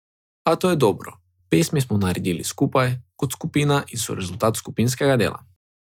A to je dobro, pesmi smo naredili skupaj, kot skupina in so rezultat skupinskega dela.